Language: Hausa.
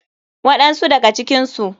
Waɗan su daga cikinsu.